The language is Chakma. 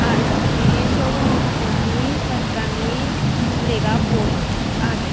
ar scooty showroommu pijendi hoi ekkan lega board agey.